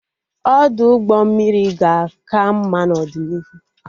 Ọdụ ụgbọ mmiri ga-aka mma n'ọdịnihu